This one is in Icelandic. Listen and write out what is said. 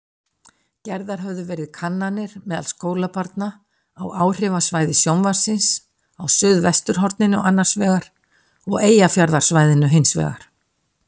Gerðar höfðu verið kannanir meðal skólabarna á áhrifasvæði sjónvarpsins á suðvesturhorninu annarsvegar og Eyjafjarðarsvæðinu hinsvegar.